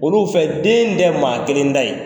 Olu fɛ den tɛ maa kelen ta ye.